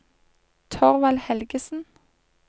Thorvald Helgesen